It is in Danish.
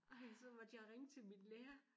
Ej så måtte jeg ringe til min lærer